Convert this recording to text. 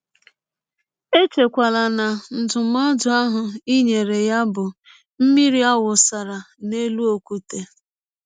Echekwala na ndụmọdụ ahụ i nyere ya bụ mmiri a wụsara n’elụ ọkwụte.